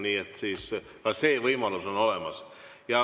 Nii et ka see võimalus on olemas.